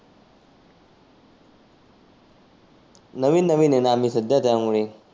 नविन नविन आहेना आम्ही सध्या त्यामुळे.